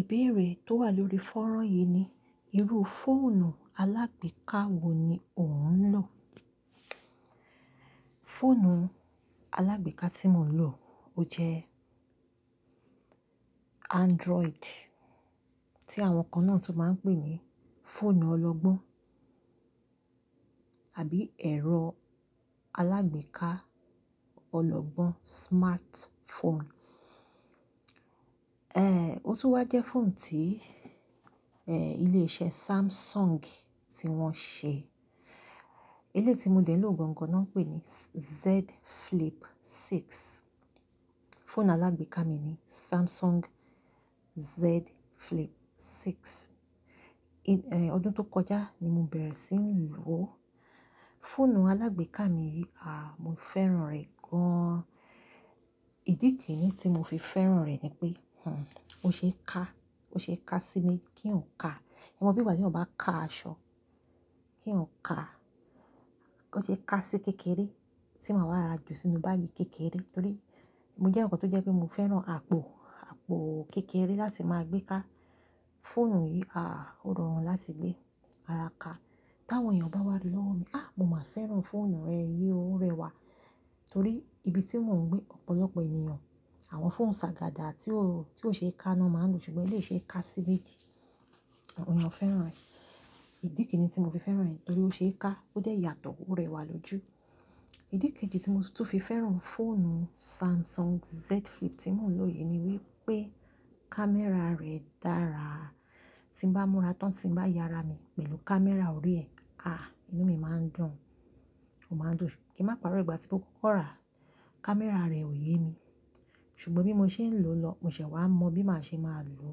Ìbéèrè tó wà lórí fọ́rán yìí ni, irú fóònù alágbèéká wo ni ò ń lò? Fóònù alágbèéká tí mò ń lò ó jẹ́ Android tí àwọn kan náà tún máa ń pè ní fóònù ọlọ́gbọ́n àbí ẹ̀rọ alágbèéká ọlọ́gbọ́n, smartphone. Eh, ó tún wá jẹ́ fóònù tí, eh, ilé-iṣẹ́ Samsung tí wọ́n ṣe. Ilé tí mo dẹ̀ ló gan-an kan náà ń pè ní Z Flip Six. Fóònù alágbèéká mi ni Samsung Z Flip Six. Eh, ọdún tó kọjá ni mo bẹ̀rẹ̀ sí ní lò ó. Fóònù alágbèéká mi yìí, ah, mo fẹ́ràn rẹ̀ gan-an. Ìdí kìnni tí mo fi fẹ́ràn rẹ̀ ni pé, hm, ó ṣe é ká, ó ṣe é ká sí mi kí n ká. Ẹ mọ bí ìgbà tí ọ̀ bá ka aṣọ kí eeyan ká. Ó ṣe é ká sí kékeré tí màá wá ra jù sínú báágì kékeré torí mo jẹ́ ǹkan tó jẹ́ pé mo fẹ́ràn àpò, àpò kékeré láti máa gbé ká. Fóònù yìí, ah, ó rọrùn láti gbé ara ka. Tí àwọn èèyàn bá wá rií lọ́wọ́ mi, "Á, mo máa fẹ́ràn fóònù rẹ yìí, ó rẹwà." Torí ibi tí mò ń gbé, ọ̀pọ̀lọpọ̀ ènìyàn, àwọn fóònù sagada tí ó, tí ó ṣe é ká náà máa ń lò ṣùgbọ́n ilé iṣẹ́ ká si mejì, àwọn èèyàn fẹ́ràn rẹ̀. Ìdí kẹ́yìn ni tí mo fi fẹ́ràn rẹ̀ torí ó ṣe é ká, ó dà ẹ́ yàtọ̀, ó rẹwà lójú. Ìdí kéjì tí mo tún fi fẹ́ràn fóònù Samsung Z Flip tí mò ń lò yìí ni wípé kámẹ́rà rẹ̀ dára. Tí n bá múra tán, tí n bá yara mi pẹ̀lú kámẹ́rà òrí ẹ̀, ah, inú mi máa ń dùn, ó máa ń dùn. Kí n má pa'rọ̀, ìgbà tí mo kọ́kọ́ rà á, kámẹ́rà rẹ̀ ò ye mi ṣùgbọ́n bí mo ṣe ń lò ó lọ, mo ṣẹ̀ wá mọ bí màá ṣe máa lò ó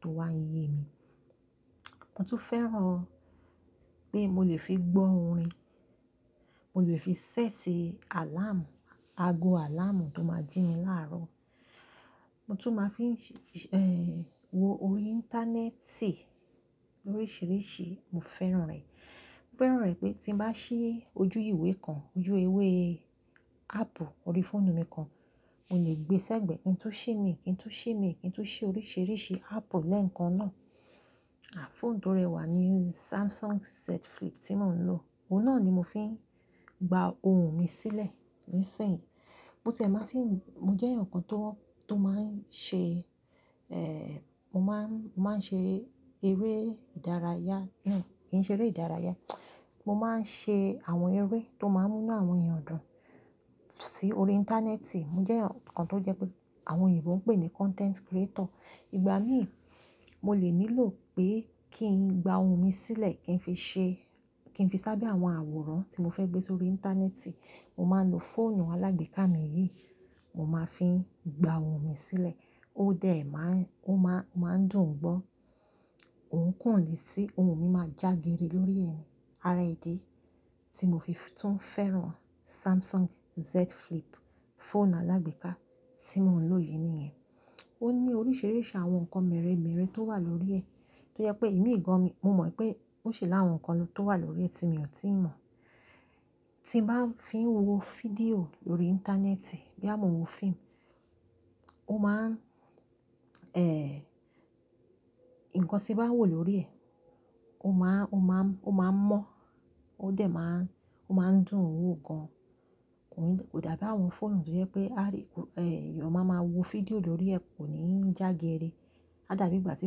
tó wá ń ye mi. Mo tún fẹ́ràn pé mo lè fi gbọ́ orin, mo lè fi ṣẹ́tì àláàmù, ago àláàmù tó máa jí mi láàárọ̀. Mo tún máa fi ń ṣi-- eh, wo orí íńtánẹ́ẹ̀tì oríṣìíríṣìí, mo fẹ́ràn rẹ̀. Mo fẹ́ràn rẹ̀ pé tí n bá ṣí ojú ìwé kan, ojú ewé áàpù orí fóònù mi kan, mo lè gbé sẹ́gbẹ̀ẹ́, kí n tú ṣí mi, kí n tú ṣí mi, kí n tú ṣí oríṣìíríṣìí áàpù lẹ́ẹ̀kan náà. Ah, fóònù tó rẹwà ni Samsung Z Flip tí mò ń lò. Ó náà ni mo fi ń gba ohun mi sílẹ̀ níìsín. Mo tẹ̀ máa ń fi-- mo jẹ́ ǹkan tó, tó máa ń ṣe, eh, mo má ń, mo má ń ṣe eré ìdárayá. Kí ni? Kì í ṣe eré ìdárayá. Mo má ń ṣe àwọn eré tó má ń mú náà àwọn èèyàn dùn sí orí íńtánẹ́ẹ̀tì. Mo jẹ́ ǹkan tó jẹ́ pé àwọn èèyàn tó ń pè ní content creator. Ìgbà mìí mo lè nílò pé kí n gba ohun mi sílẹ̀ kí n fi ṣe, kí n fi sábẹ́ àwọn àwòrán tí mo fẹ́ gbé sórí íńtánẹ́ẹ̀tì, mo máa ń lo fóònù alágbèéká mi yìí, mo máa ń fi gba ohun mi sílẹ̀. Ó dà ẹ́ má ń, ó má, ó má ń dùn ún gbọ́. Òun kò lè tí ohun mi máa jágere lórí ẹ̀ ni. Ara idi tí mo fi tún fẹ́ràn Samsung Z Flip, fóònù alágbèéká tí mò ń lò yìí nìyẹn. Ó ní oríṣìíríṣìí àwọn ǹkan mẹ́rẹ̀ẹ́mẹ́rẹ̀ẹ́ tó wà lórí ẹ̀ tó jẹ́ pé imi gàn mi, mo mọ̀ pé ó ṣe láwọn ǹkan tó wà lórí ẹ̀ tí mo ti mọ̀. Tí n bá ń fi wo fídíò lórí íńtánẹ́ẹ̀tì, bí àmọ́ mo wo fíìmù, ó má ń, eh, ǹkan tí n bá wò lórí ẹ̀, ó má, ó má, ó má ń mọ́. Ó dà ẹ́ má ń, ó má ń dùn ún wò gan-an. Kò dàbí àwọn fóònù tó jẹ́ pé àrí-- eh, èèyàn máa ma wo fídíò lórí ẹ̀ kò ní jágere. A dàbí ìgbà tí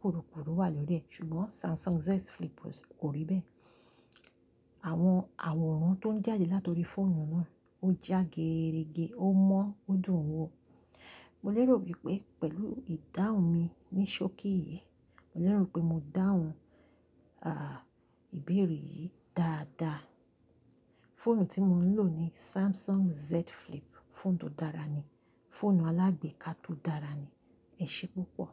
kurukuru wà lórí ẹ̀ ṣùgbọ́n Samsung Z Flip kò rí bẹ́ẹ̀. Àwọn àwòrán tó ń jáde la torí fóònù náà ó jágerege, ó mọ́, ó dùn ún wò. Mo lérò wípé pẹ̀lú ìdáhùn mi ní ṣókí yìí, mo lérò wípé mo dáhùn, ah, ìbéèrè yìí dáadaa. Fóònù tí mò ń lò ni Samsung Z Flip. Fóònù tó dára ni, fóònù alágbèéká tó dára ni. Ẹ ṣé púpọ̀.